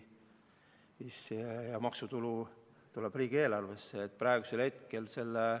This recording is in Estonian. Maksutulu tuleb riigieelarvesse.